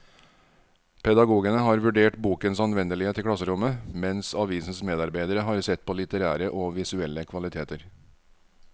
Pedagogene har vurdert bokens anvendelighet i klasserommet, mens avisens medarbeidere har sett på litterære og visuelle kvaliteter.